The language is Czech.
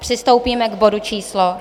Přistoupíme k bodu číslo